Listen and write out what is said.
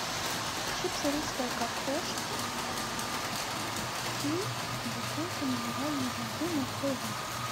чипсы русская картошка и бутылка минеральной воды на твой выбор